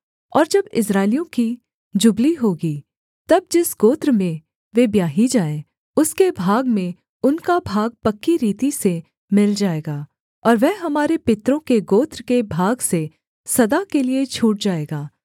और जब इस्राएलियों की जुबली होगी तब जिस गोत्र में वे ब्याही जाएँ उसके भाग में उनका भाग पक्की रीति से मिल जाएगा और वह हमारे पितरों के गोत्र के भाग से सदा के लिये छूट जाएगा